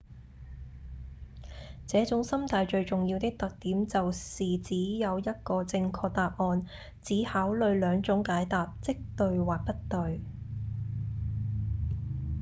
這種心態最重要的特點就是只有一個正確答案只考慮兩種解答即對或不對